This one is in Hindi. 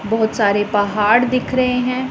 बहुत सारे पहाड़ दिख रहे हैं।